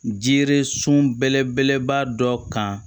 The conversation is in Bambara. Jiri sun belebeleba dɔ kan